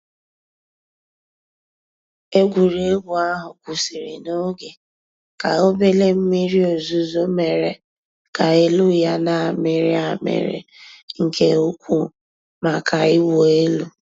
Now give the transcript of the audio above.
Ègwùrégwú àhú́ kwụ́sị́rị́ n'oge kà òbèlé m̀mìrí ózùzó mèéré kà èlú yá nà-àmị́rị́ àmị́rị́ nkè ùkwú màkà ị̀wụ́ èlú.